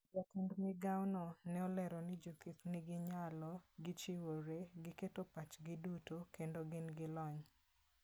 Jatend migawo no ne olero ni jothieth nigi nyalo, gichiwore, giketo pachgi duto, kendo gin gi lony.